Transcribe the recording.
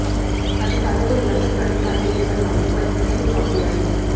अधिकारियों को निलंबित करने के आदेश देकर मामले को एसीबी को सौंप दिया है